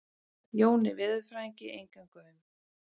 Jóni veðurfræðingi engan gaum.